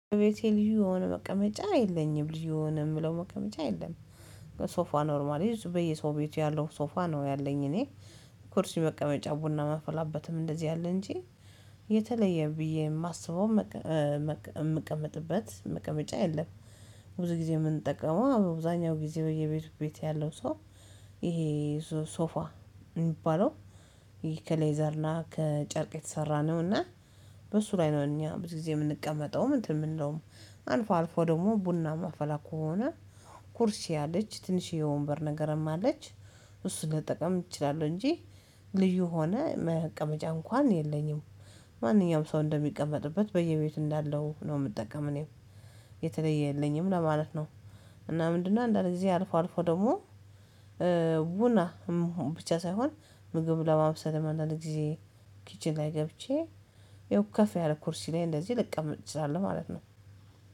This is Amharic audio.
ቤቴ ልዩ የሆነ መቀመጫ የለኝም ልዩ የሆነ የምለው መቀመጫ የለም። ሶፋ ኖርማሊ በየሰው ቤት ያለው ሶፋ ነው ያለኝ እኔ። ኩርሲ መቀመጫ ቡና ማፈላበትም እንደዚህ አለ እንጂ። የተለየ ብዬ የማስበው የምቀመጥበት መቀመጫ የለም። ብዙ ጊዜ የምንጠቀመው በብዛኛው ጊዜ በየቤቱ ቤት ያለው ሰው ይሄ ሶፋ የሚባለው ይሄ ከሌዘር ና ከጨርቅ የተሰራ ነው። እና በሱ ላይ ነው እኛ ብዙ ጊዜ የምንቀመጠውም እንትን ምንለውም አልፎ አልፎ ደግሞ ቡና እማፈላ ከሆነ። ኩርሲ አለች ትንሽዬ ወንበር ነገርም አለች እሱን ልጠቀም እችላለሁ እንጂ። ልዩ ሆነ መቀመጫ እንኳን የለኝም። ማንኛውም ሰው እንደሚቀመጥበት በየቤቱ እንዳለው ነው የምጠቀመው እኔም የተለየ የለኝም ለማለት ነው። እና ምንድነው አንዳንድ ጊዜ አልፎ አልፎ ደግሞ ቡና ብቻ ሳይሆን ምግብ ለማምሰል እንዳንድ ጊዜ ኪችን ላይ ገብቼ ያው ከፍ ያለ ኩርሲ ላይ እንደዚህ ልቀመጥ እችላለሁ ማለት ነው